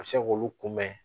A bɛ se k'olu kunbɛn